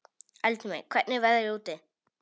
Eldmey, hvernig er veðrið úti?